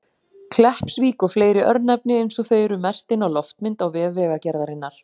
Kleppsvík og fleiri örnefni eins og þau eru merkt inn á loftmynd á vef Vegagerðarinnar.